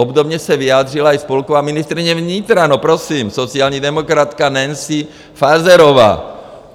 Obdobně se vyjádřila i spolková ministryně vnitra - no prosím - sociální demokratka Nancy Faeserová.